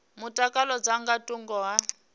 mutakalo dza nga thungo ha